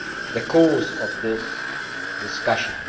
the course of this discussion.